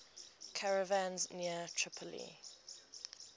caravans near tripoli